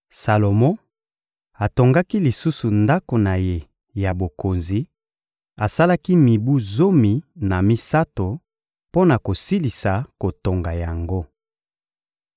Salomo atongaki lisusu ndako na ye ya bokonzi; asalaki mibu zomi na misato mpo na kosilisa kotonga yango.